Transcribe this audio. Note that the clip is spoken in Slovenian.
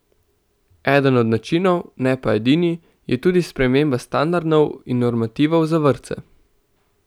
Eden od načinov, ne pa edini, je tudi sprememba standardov in normativov za vrtce.